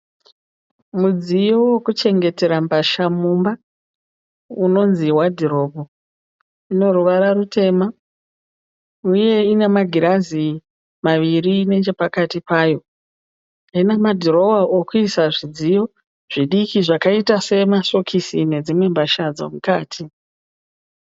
Mudziyo wokuchengetera mbatya mumba unonzi wadhiropu. Ino ruvara rutema uye ina magirazi maviri nechepakati payo. Ina madhirowa ekuisa masokisi nedzimwe mbatya dzomukati